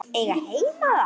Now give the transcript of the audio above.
Eiga heima þar?